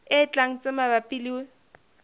e tlang tse mabapi le